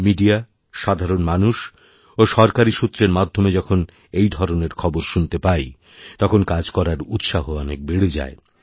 মিডিয়াসাধারণ মানুষ ও সরকারী সূত্রের মাধ্যমে যখন এই ধরনের খবর শুনতে পাই তখন কাজ করারউৎসাহ অনেক বেড়ে যায়